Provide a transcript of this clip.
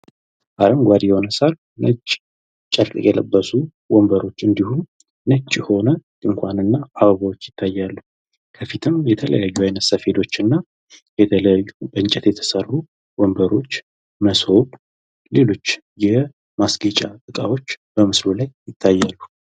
አረጓዴ የሆነ ሳር ነጭ ጨርቅ የለበሱ ወንበሮች እንዲሁም ነጭ የሆነ ድኳንና አበቦች ይታያሉ። ከፊትም የተለያዩ አይነት ሰፌዶችና የተለያዩ ከእንጨት የተሰሩ ዎንበሮች መሶብ ሌሎች የማስጌጫ እቃዎች በምስሉ ላይ ይታያሉ።